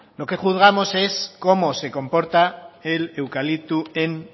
lo que juzgamos es cómo se comporta el eucalipto en